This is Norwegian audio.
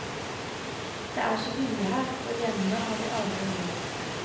Det er så billig her, og hjemme har vi aldri råd.